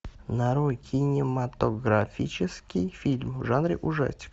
нарой кинематографический фильм в жанре ужастик